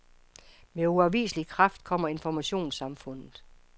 Med uafviselig kraft kommer informationssamfundet.